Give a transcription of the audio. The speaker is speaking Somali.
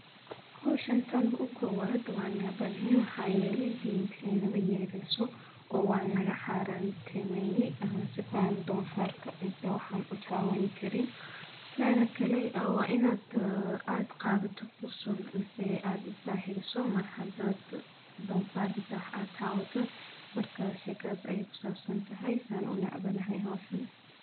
Hoshantol u kowad waa naba ne hanyu hayeli deynteeni mayeylesu o wal nagaxareen temayyi sifaan don farka misal waxan u taawani karin taada kale wa inaad aad qaadato kusul misay aad isdaahiriso mar hadaad don faar misal waxaad taawato marka shekaysa ay ku saabsan tahay isaan u nacbanahay hoshana.